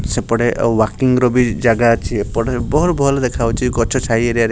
ସେପଟେ ୱାକିଂ ର ବି ଜାଗା ଅଛି। ଏପଟେ ବହୁତ୍ ଭଲ ଦେଖା ଯାଉଛି ଗଛ ଛାଇ ଏରିଆ ରେ --